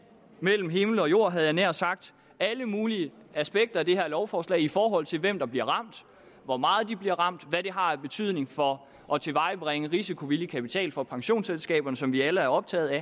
mellem himmel og jord havde jeg nær sagt alle mulige aspekter af det her lovforslag i forhold til hvem der bliver ramt hvor meget de bliver ramt hvad det har af betydning for at tilvejebringe risikovillig kapital for pensionsselskaberne som vi alle er optaget af